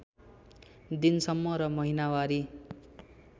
दिनसम्म र महिनावारी